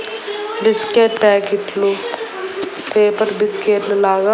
Biscuit packet లు paper biscuit లాగా .